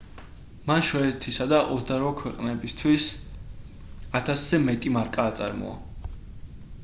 მან შვედეთისა და 28 ქვეყნებისთვის 1000-ზე მეტი მარკა აწარმოა